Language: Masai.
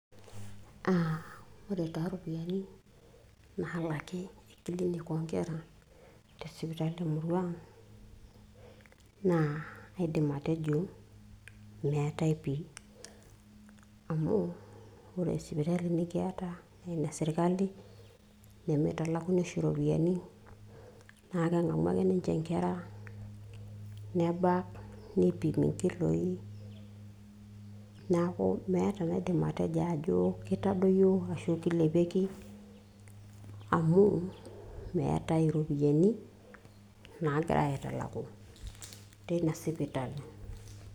uh, ore taa iropiyiani nalaki e clinic oonkera tesipitali emurua ang naa kaidim atejo meetae pii amu ore sipitali nikiyata naa ene sirkali nemitalakuni oshi iropiyiani naa keng'amu ake ninche inkera nebak nipimi inkiloi niaku meeta enaidim atejo ajo kitadowuo ashu kilepieki amu meetae iropiyiani nagirae aitalaku teina sipitali.